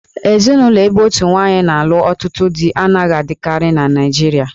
Ezinụlọ ebe otu nwaanyị na-alụ ọtụtụ dí anaghị adịkarị na Naịjirịa